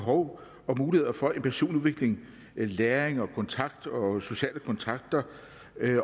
behov og muligheder for en personlig udvikling læring kontakt og sociale kontakter